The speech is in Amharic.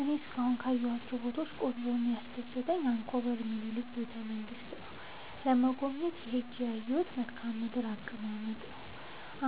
እኔ እስካሁን ካየሁት ቦታወች ቆንጆው እና ያስደሰተኝ አንኮበር የሚኒልክን ቤተ-መንግስት ለመጎብኘት ሄጄ ያየሁት መልከአ ምድራዊ አቀማመጥ ነው።